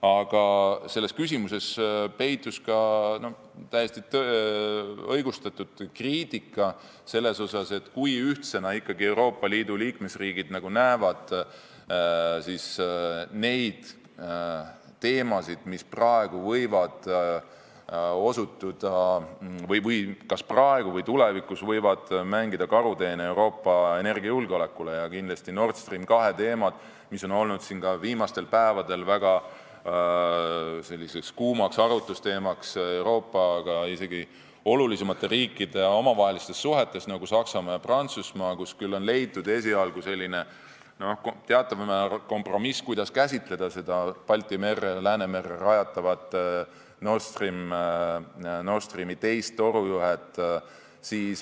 Aga selles küsimuses peitus ka täiesti õigustatud kriitika selle kohta, kui ühtsena ikkagi Euroopa Liidu liikmesriigid näevad neid teemasid, mis praegu või tulevikus võivad mängida karuteene Euroopa energiajulgeolekule, ja kindlasti Nord Stream 2 teemat, mis on olnud viimastel päevadel väga kuumaks arutlusteemaks ka Euroopa olulisemate riikide, nagu Saksamaa ja Prantsusmaa, omavahelistes suhetes, kus küll on leitud esialgu teataval määral kompromiss, kuidas käsitleda seda Läänemerre rajatavat Nord Streami teist torujuhet.